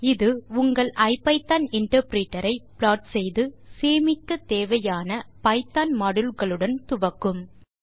இது உங்கள் ஐபிதான் இன்டர்பிரிட்டர் ஐ ப்லாட் செய்து சேமிக்க தேவையான பைத்தோன் மாடியூல் களுடன் துவக்கும் என அறிவீர்கள்